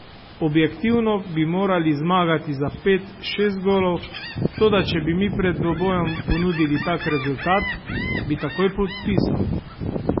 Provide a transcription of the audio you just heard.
Objektivno bi morali zmagati za pet, šest golov, toda če bi mi pred dvobojem ponudili tak rezultat, bi takoj podpisal.